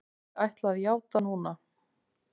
Ég ætla að játa núna.